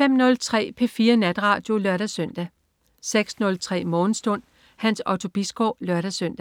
05.03 P4 Natradio (lør-søn) 06.03 Morgenstund. Hans Otto Bisgaard (lør-søn)